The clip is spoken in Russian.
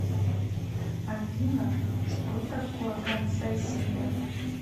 афина что такое концессия